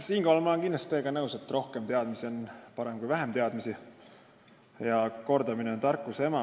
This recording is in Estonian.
Siinkohal ma olen teiega kindlasti nõus, et rohkem teadmisi on parem kui vähem teadmisi ja kordamine on tarkuse ema.